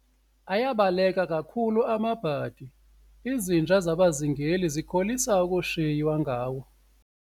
Ayabaleka kakhulu amabhadi, izinja zabazingeli zikholisa ukushiywa ngawo.